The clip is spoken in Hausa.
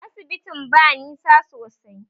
Asibitin ba nisa sosai